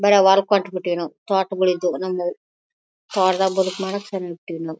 ಬಡ ವಾರಕ್ಕೋಟ್ ಬಿಟ್ವಿ ನಾವು ತೋಟಗಳಿದ್ವು ನಮ್ಮವು ತೋಟದಲ್ಲಿ ಬದುಕು ಮಾಡಕ್ .]